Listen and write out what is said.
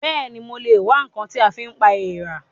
Bẹ́ẹ̀ni, mo lè wá ǹkan tí a fi pa èèrà